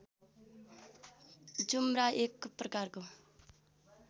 जुम्रा एक प्रकारको